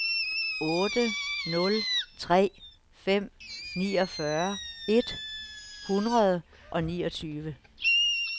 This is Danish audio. otte nul tre fem niogfyrre et hundrede og niogtyve